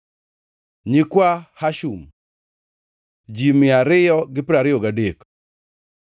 nyikwa Hashum, ji mia ariyo gi piero ariyo gadek (223),